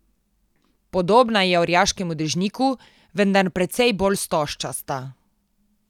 Podobna je orjaškemu dežniku, vendar precej bolj stožčasta.